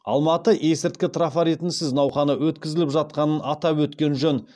алматы есірткі трафаретінсіз науқаны өткізіліп жатқанын атап өткен жөн